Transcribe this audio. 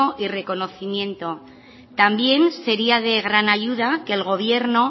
y reconocimiento también sería de gran ayuda que el gobierno